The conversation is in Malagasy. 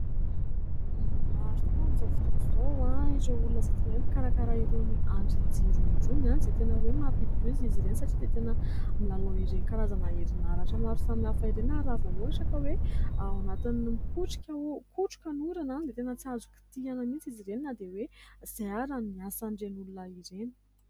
Maro tokoa amin'izao fotoana izao ireo olona izay tena hoe mpikarakara irony andrn'ny jiro irony ; izay tena hoe mampidi-doza izy ireny satria dia tena milalao ireny karazana erin'aratra maro samy hafa ireny ; ary ra ohatraka hoe ao anatin'ny mikotroka ny orana dia tena tsy azo kitihana mihitsy izy ireny na dia hoe izay ary no asan'ireny olona ireny.